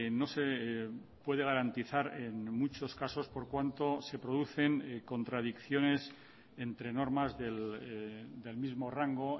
no se puede garantizar en muchos casos por cuanto se producen contradicciones entre normas del mismo rango